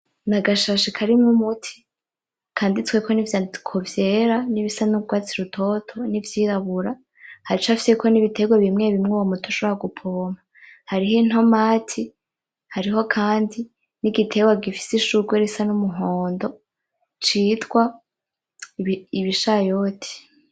Ni agashashe karimwo umuti kanditsweko nivyandiko vyera n'ibisa n'urwatsi rutoto ,n'ivyirabura, hacafyeko n'ibitegwa bimwebimwe muri uwo muti ushobora gupompa , hariho in' "tomati" , hariho kandi n'igitegwa gifise ishurwe risa n'umuhondo citwa ibishayoti.